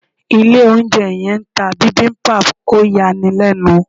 Ilé oúnjẹ yẹn ń ta bibimbap, ó yani lẹ́nu.